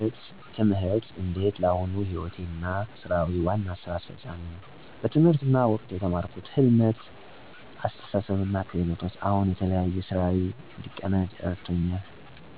ትምህርቴ እንዴት ለአሁኑ ሕይወቴ እና ሥራዊ ዋና እና አስፋሚ ነው። በትምህርት ወቅቴ የተማርኩት ህልመት፣ አስተሳሰብ እና ክህሎቶች አሁን የተለያዩ ሥራዊ እንድቀናጅ እረድቱኛ። ለምሳሌ፣ የሥራ �ጥንትነት፣ ጊዜ አስተዳደር እና ዓላማ ማሰብን የሚያስችሉ ክህሎቶች � የእለት ተእለት ሕይወቴ አይነተኛ ናቸው። ብለጥ የማህበራዊ ግንኙነቶች ክህሎት እና የችግር መፍታት አቀራረብ ሥራዊቱን እና የግል ሕይወቴን አመቺ አድርጎታል። በጠቅላላ፣ ትምህርቴ ለአሁን ዕድሎቼ የተሻለ አመቺ ሆኖኛል።